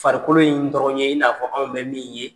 Farikolo in dɔrɔn ye i n'a fɔ anw bɛ min ye.